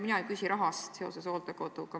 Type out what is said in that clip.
Mina ei küsi raha kohta seoses hooldekoduga.